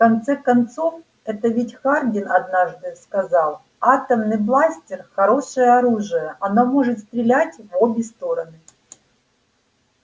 в конце концов это ведь хардин однажды сказал атомный бластер хорошее оружие оно может стрелять в обе стороны